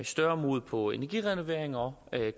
større mod på energirenoveringer og